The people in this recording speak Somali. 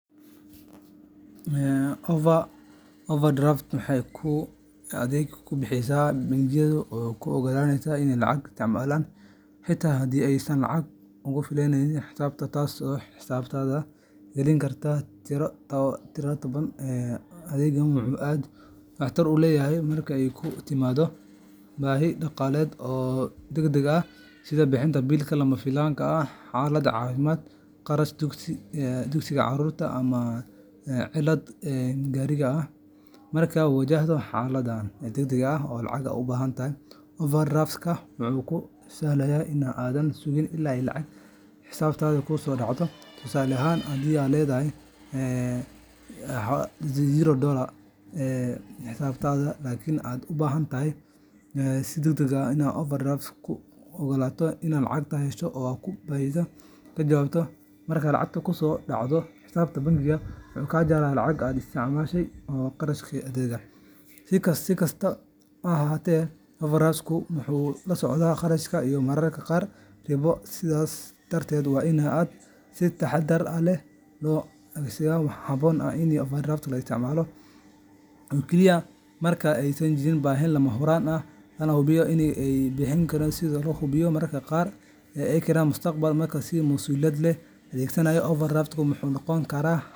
Overdraft-ku waa adeeg uu bixiyo bangigu oo kuu oggolaanaya inaad lacag isticmaasho xitaa haddii aysan lacag kugu filneyn xisaabtaada, taasoo xisaabtaada gelin karta tiro taban. Adeeggan wuxuu aad waxtar ugu leeyahay marka ay kugu timaaddo baahi dhaqaale oo degdeg ah, sida bixinta biil lama filaan ah, xaalad caafimaad, kharash dugsiga carruurta, ama cilad gaarigaaga ah. Markaad wajahdo xaalad degdeg ah oo lacag u baahan, overdraft-ka wuxuu kuu sahlayaa in aadan sugin illaa lacag xisaabtaada kusoo dhacdo. Tusaale ahaan, haddii aad leedahay eber dolarka xisaabtaada, laakiin aad u baahan tahay lacag si degdeg ah, overdraft-ka wuxuu kuu oggolaanayaa inaad lacagtaas hesho oo aad baahidaada ka jawaabto. Marka lacag kusoo dhacdo xisaabtaada, bangigu wuu ka jaraa lacagtii aad isticmaashay iyo kharashkii adeegga. Si kastaba ha ahaatee, overdraft-ku wuxuu la socdaa kharash iyo mararka qaar ribo, sidaas darteed waa in aan si taxaddar leh loo adeegsadaa. Waxaa habboon in overdraft-ka la isticmaalo oo kaliya marka ay jirto baahi lama huraan ah, lana hubiyo in dib loo bixin karo si aanay dhibaato dhaqaale u keenin mustaqbalka. Marka si masuuliyad leh loo adeegsado, overdraft-ku wuxuu noqon karaa .